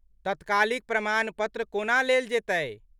तत्कालिक प्रमाण पत्र को ना लेल जेतै ?